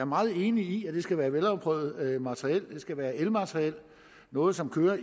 meget enig i at det skal være afprøvet materiel det skal være elmateriel noget som kører